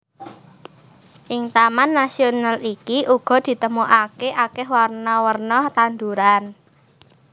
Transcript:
Ing taman nasional iki uga ditemokake akeh werna werna tanduran